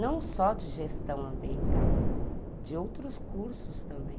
Não só de gestão ambiental, de outros cursos também.